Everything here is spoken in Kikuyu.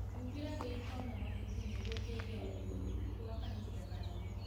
Humbĩra gĩito na mahuti nĩguo kĩige ũgunyu gwa kahinda kanene